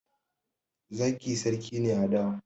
zaki sarki a dawa